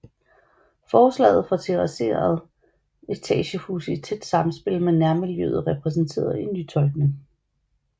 Forslaget til terrasserede etagehuse i tæt samspil med nærmiljøet repræsenterede en nytolkning